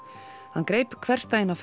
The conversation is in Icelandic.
hann greip hversdaginn á